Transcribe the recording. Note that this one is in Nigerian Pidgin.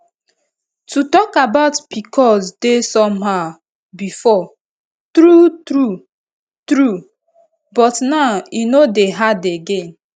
to talk about pcos dey somehow before true true true but now e no dey hard again